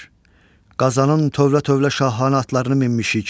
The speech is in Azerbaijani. Qazanın tövlə-tövlə şahanə atlarını minmişik.